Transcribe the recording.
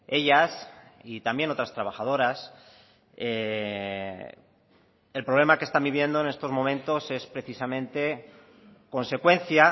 ellas y también otras trabajadoras el problema que están viviendo en estos momentos es precisamente consecuencia